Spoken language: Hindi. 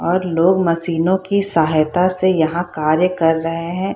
और लोग मशीनों की सहायता से यहां कार्य कर रहे हैं।